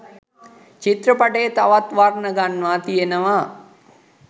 චිත්‍රපටය තවත් වර්ණ ගන්වා තියනව